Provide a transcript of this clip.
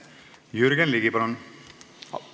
Jürgen Ligi, palun!